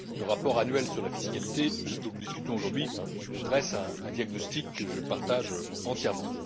Le rapport annuel sur la fiscalité, dont nous discutons aujourd'hui, dresse un diagnostic que je partage entièrement.